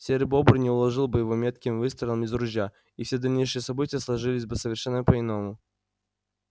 серый бобр не уложил бы его метким выстрелом из ружья и все дальнейшие события сложились бы совершенно по иному